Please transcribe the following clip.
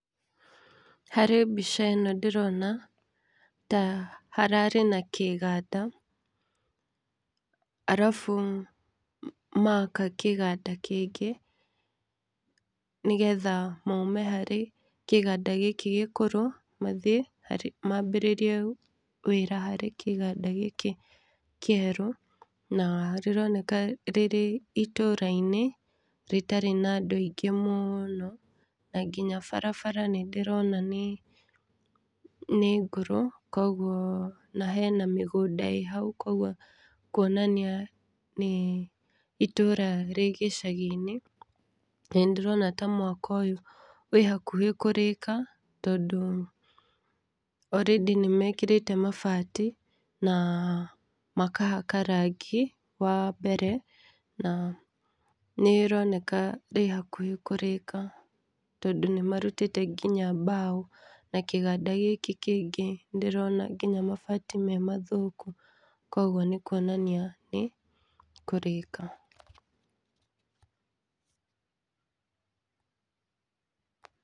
Harĩ mbica ĩno ndĩrona ta hararĩ na kĩganda arabu maka kĩganda kĩngĩ nĩ getha maume harĩ kĩganda gikĩ gikũrũ mambĩrĩrie wĩra harĩ kĩganda gĩkĩ kĩerũ. Na rĩroneka rĩrĩ itũra-inĩ rĩtarĩ naa andũ aingĩ mũno na nginya barabara nĩ ndĩrona nĩ ngũrũ koguo na hena mĩgũnda ĩhau. Koguo nĩ kuonania nĩ itũra rĩ gĩcagi-inĩ na nĩ ndĩrona ta mwako ũyũ wĩ hakuhĩ kũrĩka tondũ already nĩ mekĩrĩte ,mabati na makahaka rangi wa mbere na nĩ ĩroneka rĩhakuhĩ kũrĩka. Tondũ nĩ marutĩte nginya mbaũ na kĩganda gĩkĩ kĩngĩ ndĩrona nginya mabati memathũku koguo nĩ kyuonania atĩ nĩ kũrĩka.